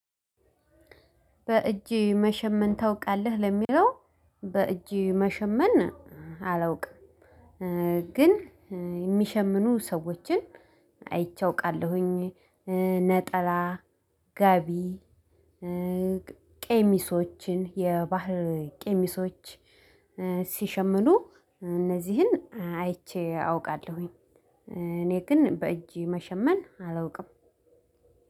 "በእጅ መሸመን ታውቃለህ?" ለሚለው በእጅ መሸመን አላውቅም። ግን የሚሸምኑ ሰዎችን አይቼ አውቃለሁኝ። ነጠላ ጋቢ ቄሚሶችን የባህር ቄሚሶች ሲሸምኑ እነዚህን አይቼ አውቃለሁኝ። እኔ ግን በእጅ መሸመን አላውቅም።